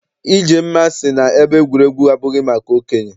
Ijemma sị na ebe egwuregwu abụghị maka okenye.